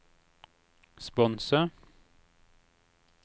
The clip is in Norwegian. sponse